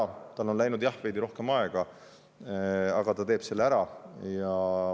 Jah, tal on küll läinud sellega veidi rohkem aega, aga ta teeb selle ära.